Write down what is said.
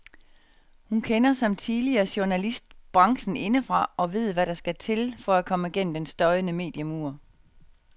Hun kender, som tidligere journalist, branchen indefra og ved hvad der skal til for at komme gennem den støjende mediemur.